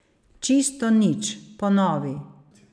Čisto nič, ponovi.